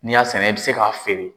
N'i y'a sɛnɛ i bi se k'a feere.